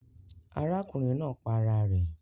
Arákùnrin naa pa ara rè